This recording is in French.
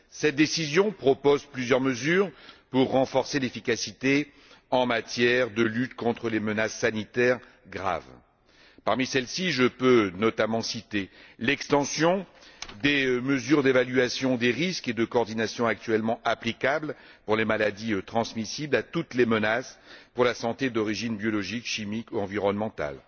Cette décision propose plusieurs mesures destinées à renforcer l'efficacité en matière de lutte contre les menaces sanitaires graves. Parmi celles ci, je peux notamment citer l'extension des mesures d'évaluation des risques et de coordination, actuellement applicables pour les maladies transmissibles, à toutes les menaces pour la santé d'origine chimique, biologique ou environnementale.